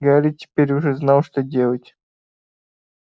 гарри теперь уже знал что делать